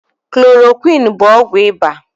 Klorokwiini bụ ọgwụ ịba.